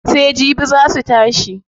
Sai jibi zaa su tashi.